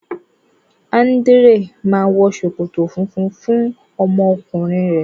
Andrea ma wọ ṣòkòtò fúnfún fún ọmọ ọkùnrin rẹ.